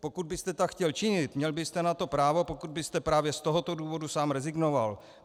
Pokud byste tak chtěl činit, měl byste na to právo, pokud byste právě z tohoto důvodu sám rezignoval.